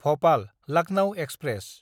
भपाल–लाकनौ express